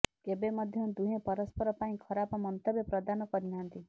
କେବେ ମଧ୍ୟ ଦୁହେଁ ପରସ୍ପର ପାଇଁ ଖରାପ ମନ୍ତବ୍ୟ ପ୍ରଦାନ କରିନାହାନ୍ତି